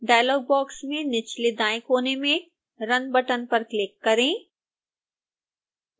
dialogue box में निचले दाएं कोने में run बटन पर क्लिक करें